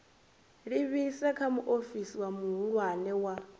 livhise kha muofisi muhulwane wa